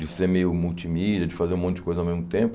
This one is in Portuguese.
De ser meio multimídia, de fazer um monte de coisa ao mesmo tempo.